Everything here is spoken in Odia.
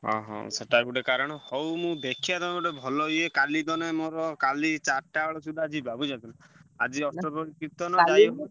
ଅହ! ସେଟା ଗୋଟେ କାରଣ ହଉ ମୁଁ ଦେଖିଆ ତମେ ଗୋଟେ ଭଲ ଇଏ କାଲିତ ନାଇଁ ମୋର କାଲି ଚାରିଟା ବେଳ ସୁଧା ଯିବା ବୁଝିପାରୁଚୁନା ଆଜି ଅଷ୍ଟପ୍ରହରି କୀର୍ତ୍ତନ।